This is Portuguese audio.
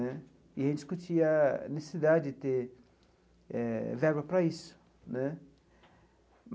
Né e a gente discutia a necessidade de ter eh verba para isso né.